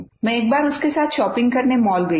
मैं एक बार उसके साथ शॉपिंग करने मॉल गयी थी